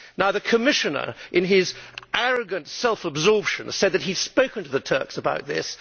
The Commissioner, in his arrogant self absorption, said that he had spoken to the Turks about this.